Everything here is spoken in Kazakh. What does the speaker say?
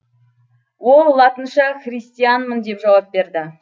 ол латынша христианмын деп жауап берді